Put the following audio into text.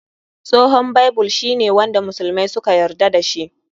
Tsohon Bible shi ne wanda musulmai suka yarda da shi.